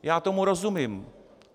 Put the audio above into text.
Já tomu rozumím.